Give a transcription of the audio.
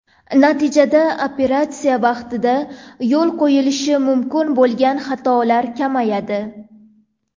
Natijada operatsiya vaqtida yo‘l qo‘yilishi mumkin bo‘lgan xatolar kamayadi.